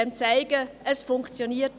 es funktioniert.